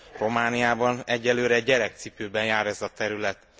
Romániában egyelőre gyerekcipőben jár ez a terület.